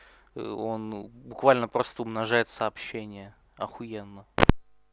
ээ он буквально просто умножает сообщения ахуенно